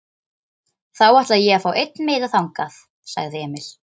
Þá ætla ég að fá einn miða þangað, sagði Emil.